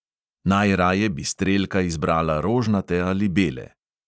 Najraje bi strelka izbrala rožnate ali bele.